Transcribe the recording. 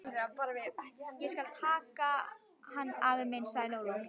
Ég skal taka hann, afi minn, sagði Lóa-Lóa.